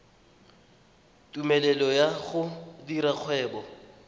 tumelelo ya go dira kgwebo